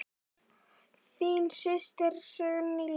Þín systir, Signý Lind.